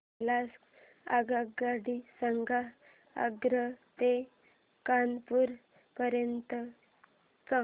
मला आगगाडी सांगा आग्रा ते कानपुर पर्यंत च्या